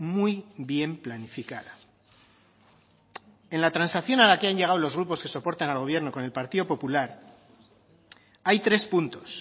muy bien planificada en la transacción a la que han llegado los grupos que soportan al gobierno con el partido popular hay tres puntos